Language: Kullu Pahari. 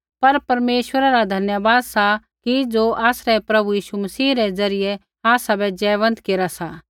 पर परमेश्वरै रा धन्यवाद सा कि ज़ो आसरै प्रभु यीशु मसीह रै ज़रियै आसाबै जयवन्त केरा सा